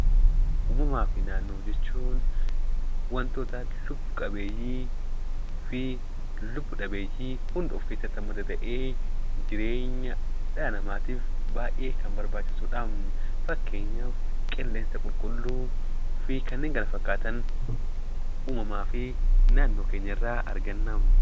Uumamaa fi naannoo jechuun wantoota lubbu qabeeyyii fi lubbu dhabeeyyii hunda of keessatti hammatu ta'ee, jireenya dhala namaatiif baay'ee kan barbaachisudha. Fakeenyaaf qilleensa qulqulluu fi kanneen kana fakkaatan uumamaa fi naannoo keenya irraa arganna.